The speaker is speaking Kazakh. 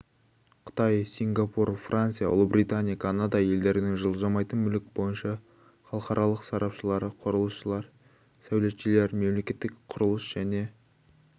қытай сипгапур франция ұлыбритания канада елдерінің жылжымайтын мүлік бойынша халықаралық сарапшылары құрылысшылар сәулетшілер мемлекеттік құрылыс және